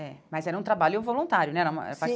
É, mas era um trabalho voluntário, né? Era